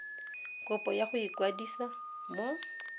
kopo ya go ikwadisa mo